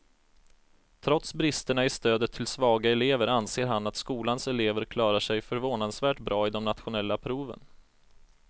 Trots bristerna i stödet till svaga elever anser han att skolans elever klarar sig förvånansvärt bra i de nationella proven.